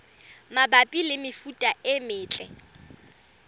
mabapi le mefuta e metle